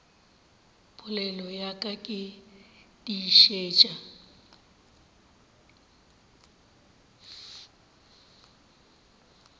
polelo ya ka ke tiišetša